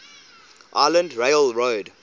island rail road